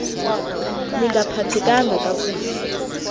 ni ngaphathekanga kakuhle